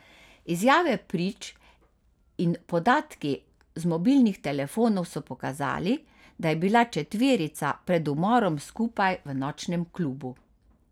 Izjave prič in podatki z mobilnih telefonov so pokazali, da je bila četverica pred umorom skupaj v nočnem klubu.